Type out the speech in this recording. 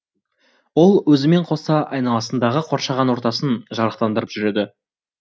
ол өзімен қоса айналасындағы қоршаған ортасын жарықтандырып жүреді